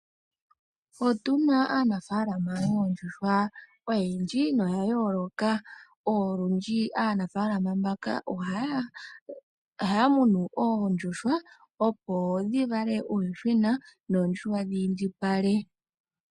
Otu na aanafalama yoondjuhwa oyendji noya yooloka. Olundji aanafalama mbaka ohaya munu oondjuhwa, opo dhi vale uuyuhwena noondjuhwa dhi indjipale.